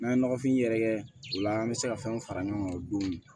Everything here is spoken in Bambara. N'an ye nɔgɔfin yɛrɛkɛ o la an bɛ se ka fɛnw fara ɲɔgɔn kan o don